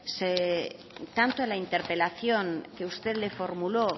tanto en la interpelación que usted le formuló